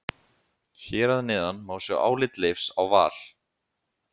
Hér að neðan má sjá álit Leifs á Val.